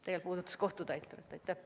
Tegelikult puudutab see kohtutäiturit.